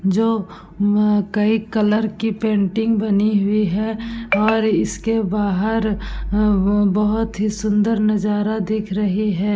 जो अ कोई कलर के पेंटिंग बानी हुई है और उसके बाहार अ बोहोत ही सुंदर नजारा दिख रही है।